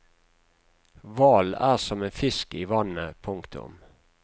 Hvalen er som en fisk i vannet. punktum